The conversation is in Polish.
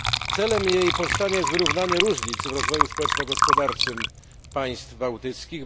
Celem jej powstania jest wyrównanie różnic w rozwoju społeczno gospodarczym państw bałtyckich.